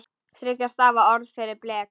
Þriggja stafa orð fyrir blek?